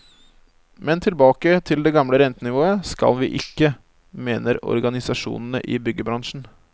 Men tilbake til det gamle rentenivået skal vi ikke, mener organisasjonene i byggebransjen.